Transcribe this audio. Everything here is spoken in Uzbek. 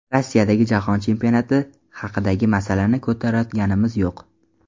Rossiyadagi jahon chempionati haqidagi masalani ko‘tarayotganimiz yo‘q.